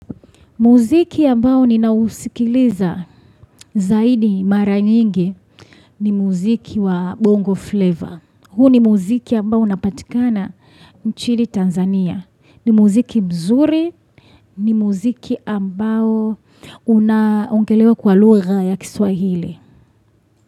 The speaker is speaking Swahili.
Muziki ambao ninausikiliza zaidi mara nyingi ni muziki wa bongo flavor. Huu ni muziki ambao unapatikana nchini Tanzania. Ni muziki mzuri, ni muziki ambao unaongelewa kwa lugha ya kiswahili.